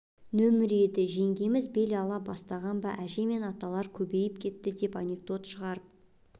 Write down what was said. нөмірі еді жеңгеміз бел ала бастаған ба әже мен аталар көбейіп кетті деп анекдот шығарып